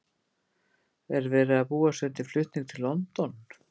Er verið að búa sig undir flutning til London?